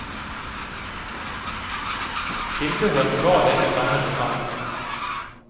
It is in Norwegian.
Tilbehør til badet i samme design.